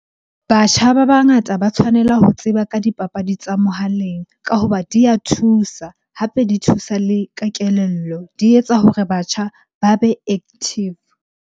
Batjha ba bangata ba tshwanela ho tseba ka dipapadi tsa mohaleng ka hoba di a thusa. Hape di thusa le ka kelello, di etsa hore batjha ba be active.